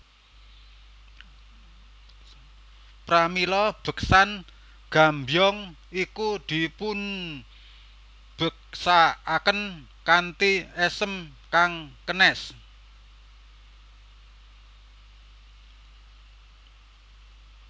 Pramila beksan Gambyong iku dipunbeksakaken kanthi esem kang kenes